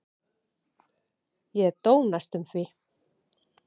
Ég dó næstum því.